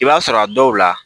I b'a sɔrɔ a dɔw la